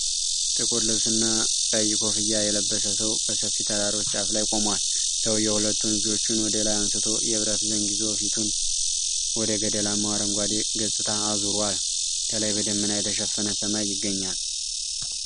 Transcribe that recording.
ጥቁር ልብስና ቀይ ኮፍያ የለበሰ ሰው በሰፊ ተራሮች ጫፍ ላይ ቆሟል። ሰውዬው ሁለቱን እጆቹን ወደ ላይ አንስቶ የብረት ዘንግ ይዞ፣ ፊቱን ወደ ገደላማው አረንጓዴ ገጽታ አዙሯል። ከላይ በደመና የተሸፈነ ሰማይ ይገኛል።